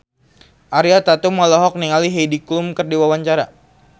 Ariel Tatum olohok ningali Heidi Klum keur diwawancara